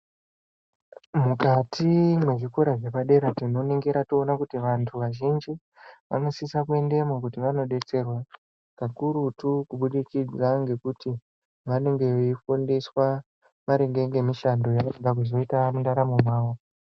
Mukati mwezvikora zvepadera tinoningira toona kuti vantu vazhinji vanosisa kuendemo kuti vanodetserwa kakurutu kubudikidza ngekuti vanenge veifundiswa maringe ngemishando yavanoda kuzoita mundaramo mavo.